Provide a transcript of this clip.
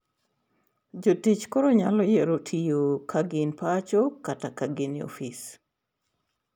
Jotich koro nyalo yiero tiyo ka gin pacho kata biro e ofis.